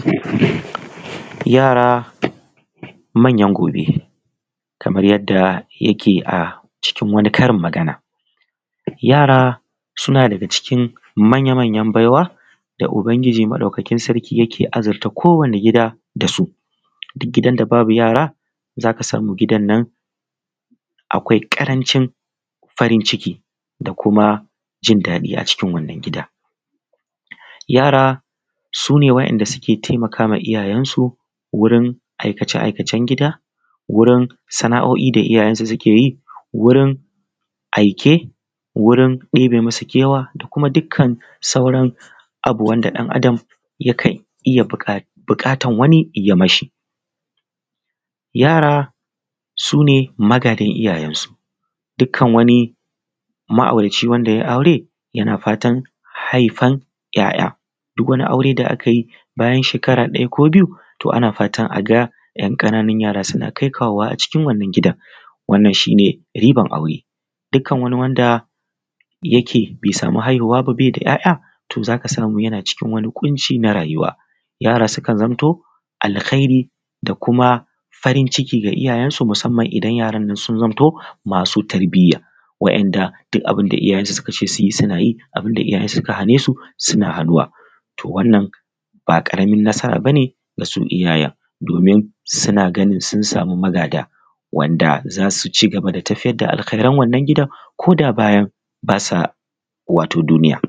Yara manyan gobe kamar yadda yake a acikin wani karin magana, yara suna daga cikin manya-manyan baiwa da Ubangiji sarki yake azurta kowanne gida da su. Duk gidan da babu yara, gidan nan akwai ƙarancin farin ciki da kuma jin daɗi a cikin wannan gida. Yara su ne waɗanda suke taimakawa iyayensu da aikace-aikace gida da wurin sana'o'in da iyayensu suke yi wuri aike wuri ɗebe musu kewa da kuma dukkan wani abu wanda ɗan Adam yakan yi ko yankan iya buƙatar wani ya yi ma shi. Yara su ne magadan iyayensu, dukkan maauraci wanda ya yi aure yana fatan haifan 'ya'ya. Duk wani aure da aka yi bayan shekara ɗaya ko biyu ana fatan a ga wasu 'yan ƙananun yara suna kai kawo a wannan gidan wannan shi ne ribar aure. Dukkan wanda bai da ya'ya bai sama damar haihuwa ba za ka samu yana cikin ƙunci wani na rayuwa. Yara sukan zamto alhairi da kuma farin ciki ga iyayensu musamman idan su zamto masu tarbiya da kuma duk abinda Iyayensu suka ce su yi suna yi, hakana bun da suka hane su suna hanuwa. To wannan ba ƙaramin nasara ba ne ga iyayen, domin suna ganin sun sama magada wanda za su ci gaba da tafiyar da alhairan wannan gida ko da bayan ba sa duniya.